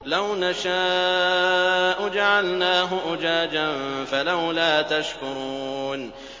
لَوْ نَشَاءُ جَعَلْنَاهُ أُجَاجًا فَلَوْلَا تَشْكُرُونَ